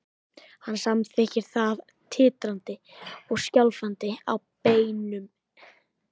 Hann samþykkir það, titrandi og skjálfandi á beinunum.